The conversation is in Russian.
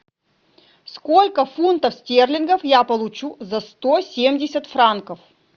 сколько фунтов стерлингов я получу за сто семьдесят франков